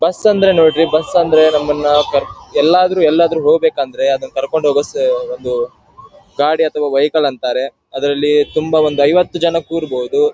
Bus ಅಂದ್ರೆ bus ಅಂದ್ರೆ ನಮ್ಮನ ಕರ್ ಎಲ್ಲಾದ್ರು ಎಲ್ಲಾದ್ರು ಹೊಗ್ಬೇಕಂದ್ರೆ ಅದ್ ಕರ್ಕೊಂಡ್ ಹೊಗೋ ಸ್ಸ್ ಅದೂ ಗಾಡಿ ಅತ್ವ ವೆಹಿಕ್ಲ ಅಂತಾರೆ. ಅದ್ರಲ್ಲಿ ತುಂಬಾ ಒಂದು ಐವತ್ತು ಜನ ಕುರ್ಬೋದು.